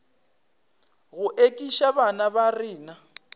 go ekiša bana ba rena